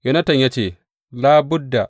Yonatan ya ce, Labudda!